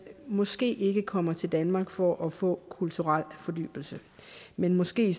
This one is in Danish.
måske ikke kommer til danmark for at få kulturel fordybelse men måske